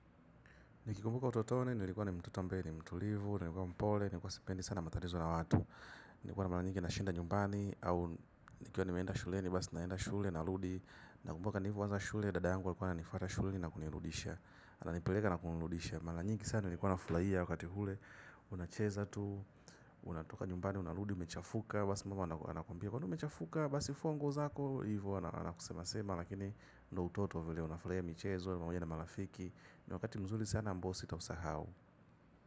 Nikikumbuka utotoni, nilikuwa ni mtoto ambaye ni mtulivu, nilikuwa mpole, nilikuwa sipendi sana matatizo na watu. Nikuwa na malanyingi na shinda nyumbani, au nikuwa ni meenda shuleni basi naenda shule, naludi. Nakumbuka nilivo aza shule, dadayangu alikuwa ananifata shule na kunirudisha anipilega na kunirudisha, malanyingi sana nilikuwa nafulaia wakati hule. Unacheza tu, unatoka nyumbani, unaludi, umechafuka, basi mama anakuambia mbona umechafuka basi fungo zako. Hivu ana kusema sema lakini ndo utoto vile unafurahia michezo pamoja na malafiki. Ni wakati mzuli sana ambao sitausahau.